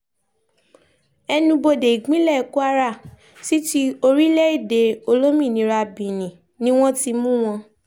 ẹnubodè ìpínlẹ̀ kwara sí ti orílẹ̀-èdè olómìnira benin ni wọ́n ti mú wọn